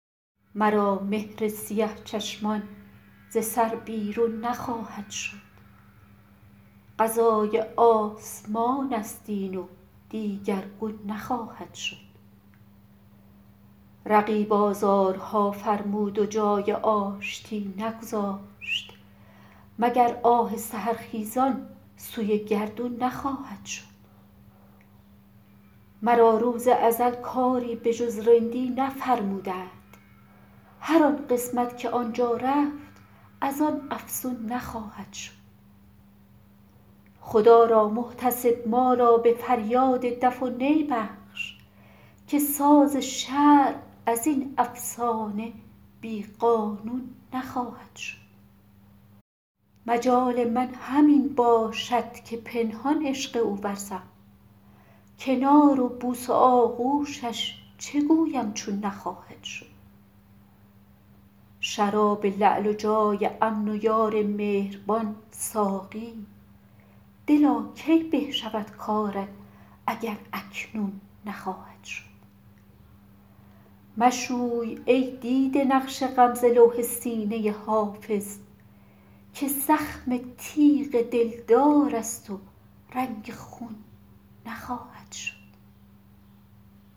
مرا مهر سیه چشمان ز سر بیرون نخواهد شد قضای آسمان است این و دیگرگون نخواهد شد رقیب آزارها فرمود و جای آشتی نگذاشت مگر آه سحرخیزان سوی گردون نخواهد شد مرا روز ازل کاری به جز رندی نفرمودند هر آن قسمت که آن جا رفت از آن افزون نخواهد شد خدا را محتسب ما را به فریاد دف و نی بخش که ساز شرع از این افسانه بی قانون نخواهد شد مجال من همین باشد که پنهان عشق او ورزم کنار و بوس و آغوشش چه گویم چون نخواهد شد شراب لعل و جای امن و یار مهربان ساقی دلا کی به شود کارت اگر اکنون نخواهد شد مشوی ای دیده نقش غم ز لوح سینه حافظ که زخم تیغ دلدار است و رنگ خون نخواهد شد